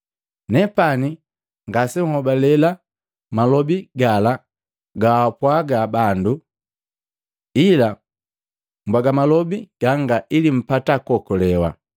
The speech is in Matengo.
Nepani ngasenhobale malobi gala gaapwaga bandu, ila mbwaga malobi ganga ili mpata kuokolewa.